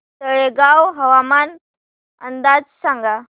तळेगाव हवामान अंदाज सांगा